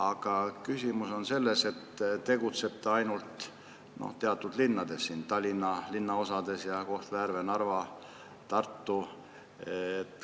Aga küsimus on selles, et selle programmi järgi tegutsetakse ainult teatud linnades: Tallinna linnaosades, Kohtla-Järvel, Narvas ja Tartus.